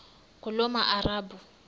ngulomarabu